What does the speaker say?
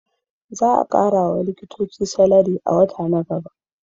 Za a kara wa likitoci salari a wata na gaba